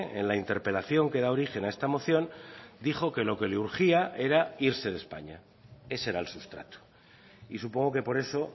en la interpelación que da origen a esta moción dijo que lo que le urgía era irse de españa ese era el sustrato y supongo que por eso